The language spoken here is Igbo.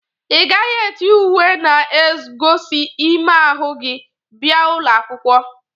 Ị gaghị eti uwe na-egozi ime ahụ gi bia ụlọ akwụkwọ.!